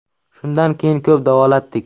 Shundan keyin ko‘p davolatdik.